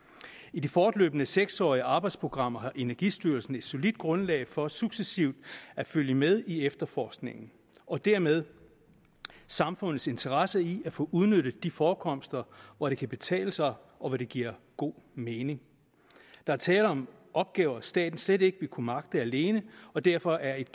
i det fortløbende seks årige arbejdsprogram har energistyrelsen et solidt grundlag for successivt at følge med i efterforskningen og dermed samfundets interesse i at få udnyttet de forekomster hvor det kan betale sig og hvor det giver god mening der er tale om opgaver staten slet ikke vil kunne magte alene og derfor er et